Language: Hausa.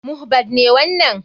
Mohbad ne wanan.